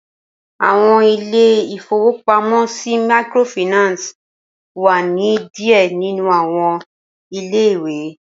Awọn ilé ìfowópamọ́ sì Microfinance wá ni díẹ̀ nínú àwọn ilé-ìwé